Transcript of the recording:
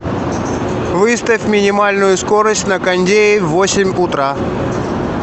выставь минимальную скорость на кондее в восемь утра